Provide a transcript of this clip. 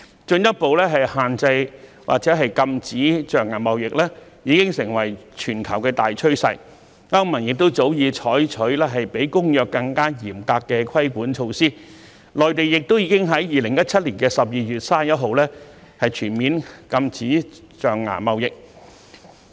進一步限制或禁止象牙貿易已成為全球大趨勢，歐盟早已採取比《公約》更嚴格的規管措施，內地亦已於2017年12月31日全面禁止象牙貿易。